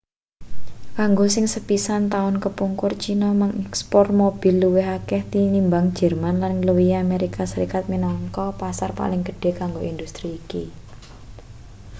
kanggo sing sepisan taun kepungkur china ngekspor mobil luwih akeh tinimbang jerman lan ngluwihi amerika serikat minangka pasar paling gedhe kanggo industri iki